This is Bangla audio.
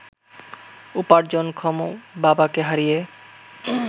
উপার্জনক্ষম বাবাকে হারিয়ে